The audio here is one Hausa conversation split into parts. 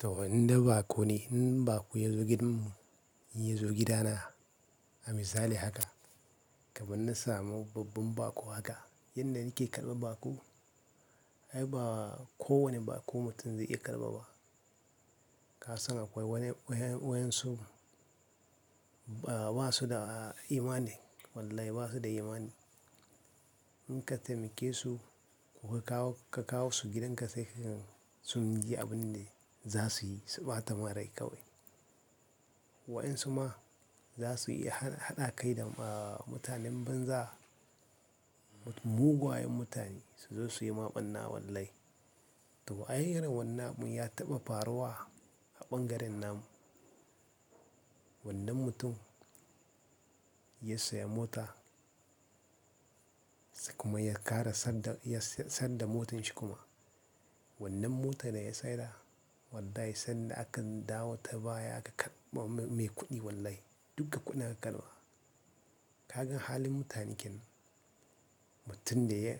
To, inda baƙo ne in baƙo ya zo gidanmu, in ya zo gidana, a misali haka, kamar na samu babban baƙo haka yanda nake karɓa baƙo, ai ba kowane baƙo mutum zai iya karɓa ba. Ka san akwai wani-- wayen wayensu ba su da imani. Wallahi ba su da imani. In ka taimake su, kuma ka kawo su gidanka sai ka gan sun ji abun da za su yi, su ɓata ma rai kawai. Wa'ayansu ma za su iya haɗa kai da mutanen banza, mugayen mutane su zo su yi ma ɓanna wallahi. To, ay irin wannan abun ya taɓa faruwa a ɓangaren nan. Wannan mutum ya saya mota sai kuma ya ƙara san da-- ya san da motanshi kuma. Wannan mota ne ya saya da? Wallahi sanda a ka dawo ta baya aka karɓa mai kuɗi wallahi, duka kuɗin aka karɓa. Ka gan halin mutanenkenan, mutum da ya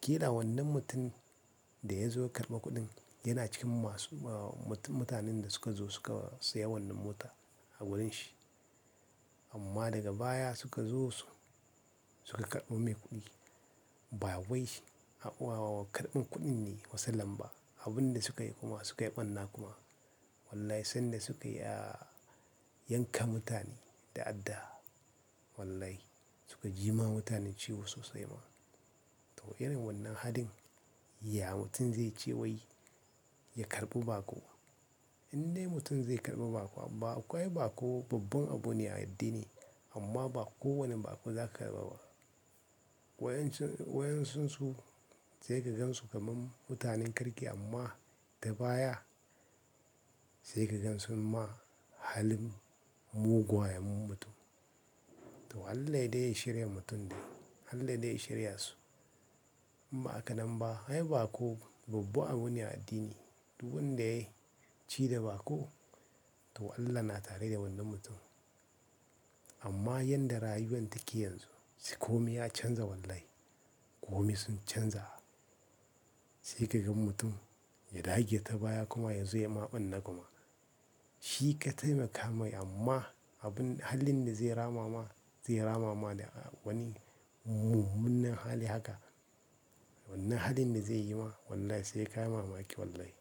ƙira wannan mutum da ya zo ya karɓi kuɗin yana cikin masu-- mutanen da suka zo suka sayi wannan mota a wurin shi. Amma daga baya suka zo su suka karɓi mai kuɗi. Ba wai shi a wa karɓin kuɗin ne masalan ba. Abun da suka yi kuma, suka yi ɓanna kuma. Wallahi sanda suka ya yanka mutane da adda. Wallahi suka jima mutane ciwo sosai ma. To, irin wannan halin ya mutum zai ce wai ya karɓi baƙo. Indai mutum zai karɓi baƙo? Baƙo ai baƙo babban abu ne a addini amma ba kowane baƙo za ka karɓa ba. Wayen wayensunsu sai ka gansu kamar mutanen kirki amma da baya sai ka gansu ma halin mugayen mutum. To, Allah dai ya shirya mutum dai. Allah dai ya shirya su. Amma a ka nan ba, ai baƙo babba abu ne a addini. Duk wanda ya ci da baƙo to Allah na tare da wannan mutum. Amma yanda rayuwan take yanzu, ko me ya canza wallahi, ko me sun canza, sai ka gan mutum ya dage ta baya kuma yanzu ya maɓanna kuma. Shi ka taimaka mai amma abun halin da zai ramama zai ramama da wani mu-munnan hali haka. Wannan halin da zai yi ma wallahi sai ka mamaki wallahi.